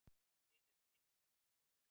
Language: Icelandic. Þið eruð einstakir.